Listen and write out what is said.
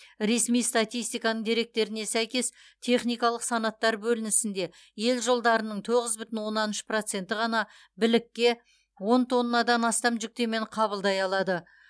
ресми статистиканың деректеріне сәйкес техникалық санаттар бөлінісінде ел жолдарының тоғыз бүтін оннан үш проценті ғана білікке он тоннадан астам жүктемені қабылдай алады